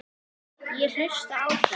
Ég hlustaði á þá.